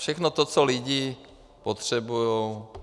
Všechno to, co lidi potřebujou.